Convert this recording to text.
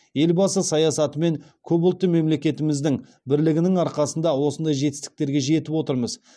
елбасы саясаты мен көпұлтты мемлекетіміздің бірлігінің арқасында осындай жетістіктерге жетіп отырмыз